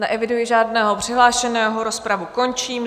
Neeviduji žádného přihlášeného, rozpravu končím.